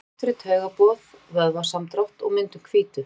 Það er mikilvægt fyrir taugaboð, vöðvasamdrátt og myndun hvítu.